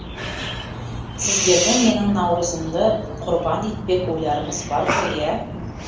сіздердің менің наурызымды құрбан етпек ойларыңыз бар ғой иә